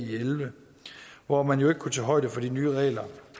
elleve hvor man jo ikke kunne tage højde for de nye regler